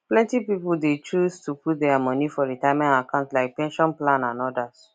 plenty people de choose to put their money for retirement accounts like pension plan and others